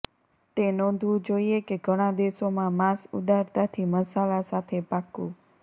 તે નોંધવું જોઇએ કે ઘણા દેશોમાં માંસ ઉદારતાથી મસાલા સાથે પાકું